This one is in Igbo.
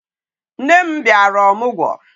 Nne m bịara ọmụgwọ